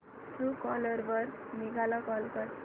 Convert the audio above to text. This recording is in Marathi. ट्रूकॉलर वर मेघा ला कॉल कर